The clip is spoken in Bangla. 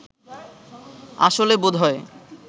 আসলে বোধহয়